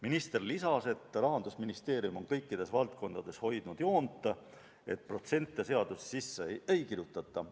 Minister lisas, et Rahandusministeerium on kõikides valdkondades hoidnud joont, et protsente seadusesse sisse ei kirjutata.